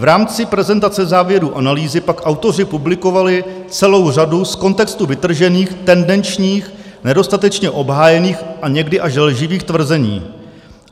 V rámci prezentace závěrů analýzy pak autoři publikovali celou řadu z kontextu vytržených, tendenčních, nedostatečně obhájených a někdy až lživých tvrzení.